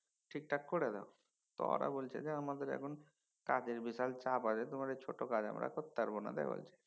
ঠিকঠাক কইরা দাও তো ওরা বলছে যে আমাদের এখন কাজের বিশাল চাপ আছে তোমার এই ছোট কাজ আমরা করতে পারবো না। তাই বলছে